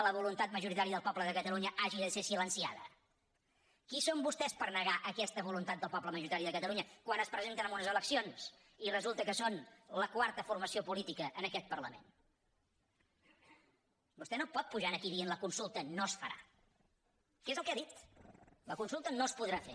la voluntat majoritària del poble de catalunya hagi de ser silenciada qui són vostès per negar aquesta voluntat del poble majoritària de catalunya quan es presenten en unes eleccions i resulta que són la quarta formació política en aquest parlament vostè no pot pujar aquí i dir que la consulta no es farà que és el que ha dit la consulta no es podrà fer